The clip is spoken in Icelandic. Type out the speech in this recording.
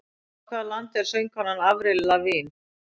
Frá hvaða landi er söngkonan Avril Lavigne?